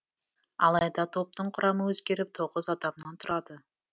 алайда топтың құрамы өзгеріп тоғыз адамнан тұрады